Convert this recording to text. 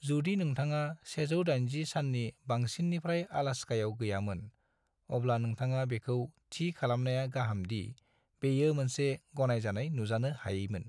जुदि नोंथाङा 180 सान्नि बांसिन्निफ्राय अलास्कायाव गैयामोन, अब्ला नोंथाङा बेखौ थि खालामनाया गाहाम दि बेयो मोनसे गनायजानाय नुजानो हायैमोन।